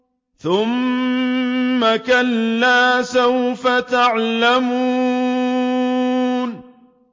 ثُمَّ كَلَّا سَوْفَ تَعْلَمُونَ